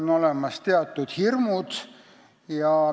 Neil on teatud hirmud.